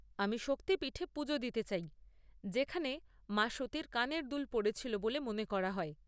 আমি শক্তি পিঠে পুজো দিতে চাই, যেখানে মা সতীর কানের দুল পড়েছিল বলে মনে করা হয়।